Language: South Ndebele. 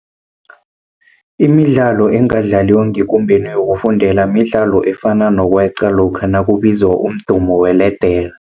Imidlalo engadlaliwa ngekumbeni yokufundela midlalo efana nokweqa lokha nakubizwa umdumo weledere.